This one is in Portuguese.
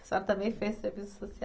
A senhora também fez serviço social?